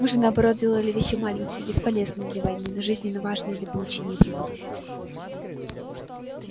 мы же наоборот делали вещи маленькие бесполезные для войны но жизненно важные для получения прибыли